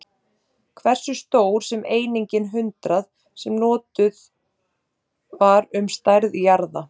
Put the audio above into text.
Hversu stór er einingin hundrað, sem notuð var um stærð jarða?